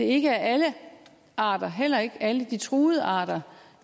ikke er alle arter heller ikke alle de truede arter